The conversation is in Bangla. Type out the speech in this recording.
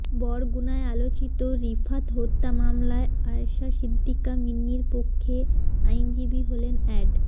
বরগুনায় আলোচিত রিফাত হত্যা মামলায় আয়শা সিদ্দিকা মিন্নির পক্ষে আইনজীবী হলেন অ্যাড